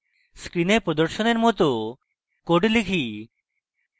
screen প্রদর্শনের মত code type